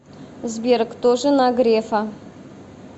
сбер кто жена грефа